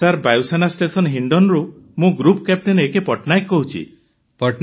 sir ବାୟୂସେନା station ହିଣ୍ଡନରୁ ମୁଁ ଗ୍ରୁପ୍ କ୍ୟାପଟେନ ଏକେ ପଟ୍ଟନାୟକ କହୁଛି